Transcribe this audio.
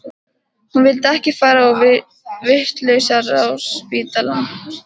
Hún vildi ekki fara á vitlausraspítalann.